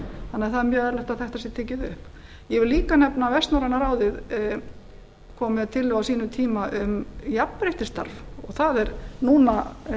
því mjög eðlilegt að þetta sé tekið upp ég vil líka nefna að vestnorræna ráðið kom með tillögu á sínum tíma um jafnréttisstarf og það er núna